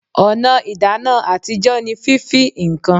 Ọ̀nà ìdáná àtijọ́ ní fífí ǹkan